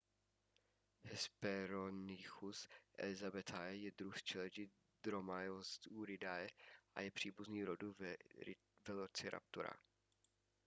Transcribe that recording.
hesperonychus elizabethae je druh z čeledi dromaeosauridae a je příbuzný rodu velociraptora